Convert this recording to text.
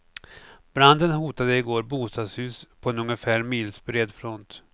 Branden hotade i går bostadshus på en ungefär milsbred front.